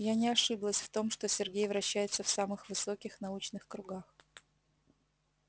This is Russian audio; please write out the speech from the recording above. я не ошиблась в том что сергей вращается в самых высоких научных кругах